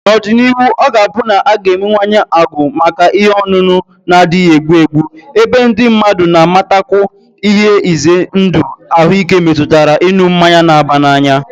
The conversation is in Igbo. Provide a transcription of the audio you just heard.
N'ọdịnihu, ọ ga-abụ na a ga-enwewanye agụụ maka ihe ọṅụṅụ na-adịghị egbu egbu, ebe ndị mmadụ na-amatakwu ihe ize ndụ ahụike metụtara ịṅụ mmanya na-aba n'anya